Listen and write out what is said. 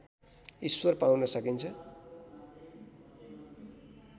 ईश्वर पाउन सकिन्छ